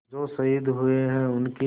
जो शहीद हुए हैं उनकी